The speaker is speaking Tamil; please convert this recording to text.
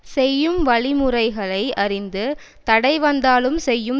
செய்யும் வழிமுறைகளை அறிந்து தடை வந்தாலும் செய்யும்